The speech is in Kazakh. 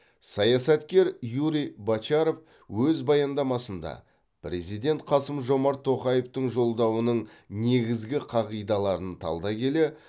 саясаткер юрий бочаров өз баяндамасында президент қасым жомарт тоқаевтың жолдауының негізгі қағидаларын талдай келе